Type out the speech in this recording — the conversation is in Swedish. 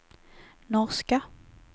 norska